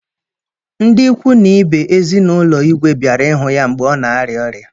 Ndị ikwu na ibe ezinaụlọ Igwe bịara ịhụ ya mgbe ọ na-arịa ọrịa.